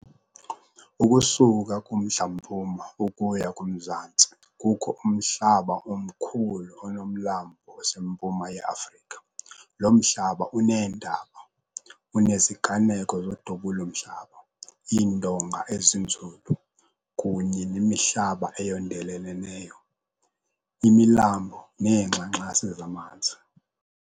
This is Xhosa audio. Ukusuka kumntla-mpuma ukuya kumzantsi kukho umhlaba omkhulu onomlambo oseMpuma ye-Afrika. lo mhlaba uneentaba, uneziganeko zodubulo-mhlaba, iindonga, ezinzulu, kunye nemihlaba eyondeleleneyo, imilambo neengxangxasi zamanzi.